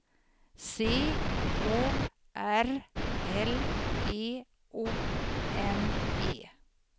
C O R L E O N E